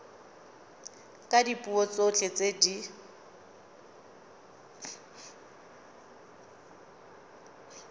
ka dipuo tsotlhe tse di